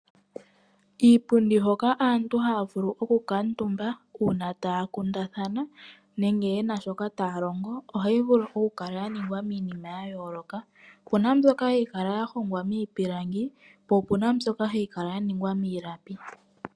Iipundi hoka aantu haya vulu oku kuutumba uuna taya kundathana nenge yena shoka taya longo ohayi vulu okukala yaningwa miinima yayooloka opena yimwe mbyoka hayi kala yahongwa miipilangi po opena mbyoka hayi kala yaningwa miilapi.